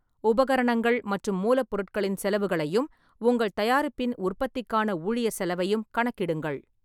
உபகரணங்கள் மற்றும் மூலப்பொருட்களின் செலவுகளையும், உங்கள் தயாரிப்பின் உற்பத்திக்கான ஊழியர் செலவையும் கணக்கிடுங்கள்.